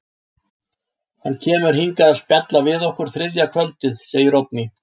Hann kemur hingað að spjalla við okkur þriðja kvöldið, segir Oddný.